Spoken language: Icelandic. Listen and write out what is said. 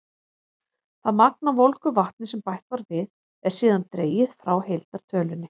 Það magn af volgu vatni sem bætt var við, er síðan dregið frá heildartölunni.